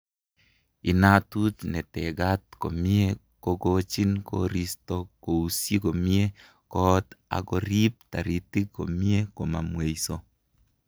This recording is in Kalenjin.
Inatut ne tegaat komie kogochin koristo kousyi komie koot ak koriip taritik komie komamweeiso